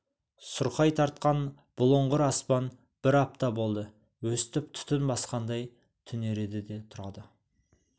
сұрқай тартқан бұлыңғыр аспан бір апта болды өстіп түтін басқандай түнереді де тұрады